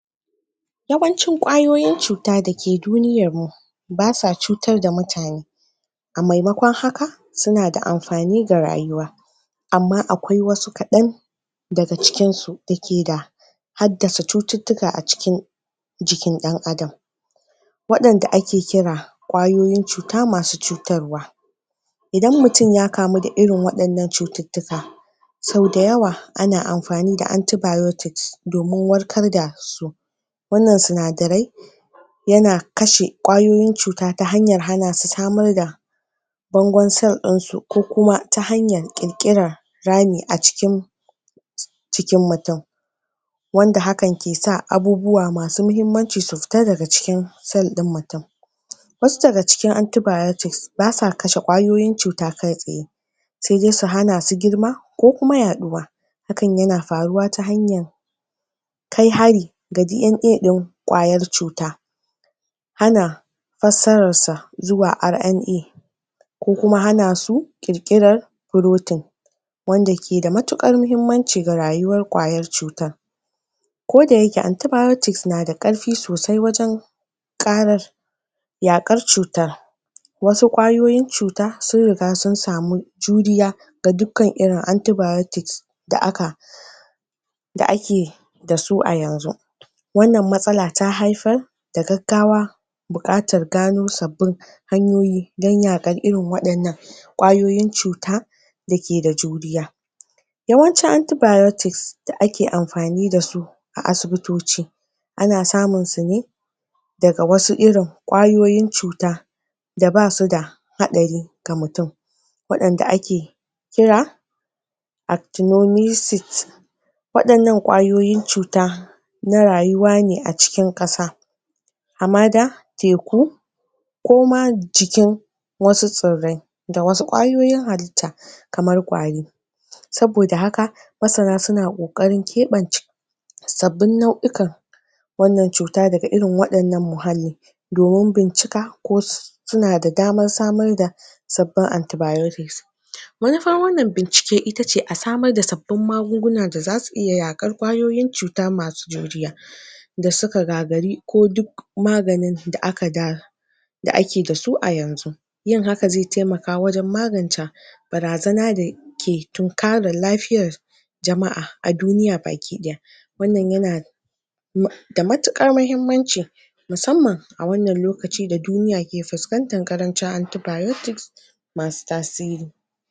Yawancin kwayoyin cuta da ke duniyar mu ba sa cutar da mutane. A maimakon haka, suna da amfani ga rayuwa. Amma akwai wasu kadan daga cikin su da ke da hadda su cututtuka a cikin, a cikin dan Adam, Wadan da ake kira wadan da ake kira kwayoyin cuta masu cutarwa. Idan mutum ya kamu da irin wadannan cututtuka, sau dayawa, ana amfani da antibiotics domin warkar da su. Wannan sunadarai yana kashe kwayoyin cuta ta hanyar hana su samar da bangon cell din su, ko kuma ta hanyar kirkirar rami a cikin, cikin mutum. Wanda hakan ke sa abubuwa masu muhimmanci su fita daga cikin cell din mutum. Wasu daga cikin anitbiotics ba sa kashe kwayoyin cuta kai tsaye. Sai dai su hana su girma ko kuma yaduwa. Hakan yana faruwa ta hanyar kai hari ga DNA din kwayar cuta. Ana fasarar sa zuwa RNA ko kuma hana su kirkirar frotin. frotin wanda ke da matukar muhimmanci ga rayuwar kwayayar cutar. Ko da yake antibiotics na da karfi sosai wajen karar, yakar cutar, wasu kwayoyin cuta sun riga sun samu juriya ga dukan irin antibiotics da aka da ake da su a yanzu. Wannan matsala ta haifar da gaggawa bukatar gano sabbin hanyoyi don yakar irin wadannan kwayoyin cuta da ke da juriya. Yawancin antibiotics da ake amfani da su a asibitoci, ana samun su ne daga wasu irin kwayoyin cuta da basu da hatsari ga mutum wadan da ake kira "actinomyces". Wadannan kwayoyin cuta na rayuwa ne a cikin kasa, na rayuwa ne a cikin kasa. Amma da a mada, teku ko ma cikin wasu saurai da wasu kwayoyin halita kamar kwari. Sabo da haka, masana suna kokarin kebance sabin nau'ikan wannan cuta daga irin wadannan muhallin domin bincika ko su- suna da damar samar da sabin antibiotics. Wai fa wannan bincike i Wai fa wannan bincike ita ce a samar da sabin magunaguna da zasu iya yakar kwayoyin cuta masu juriya da suka gagari ko duk maganin da aka da, da ake da su a yanzu. Yin haka zai taimaka wajen maganca barazana da ke tunkarin lafiyar jama'a a duniya baki daya. Wannan yana da matukar muhimmanci musamman a wannan lokaci da duniya ke fuskantan karancin antibiotics masu tasiri.